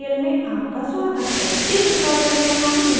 इस tutorial में हम निम्नलिखित सीखेंगे